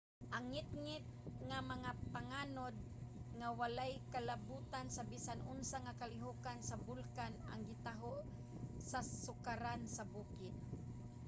ang ngitngit nga mga panganod nga walay kalabutan sa bisan unsa nga kalihokan sa bulkan ang gitaho sa sukaran sa bukid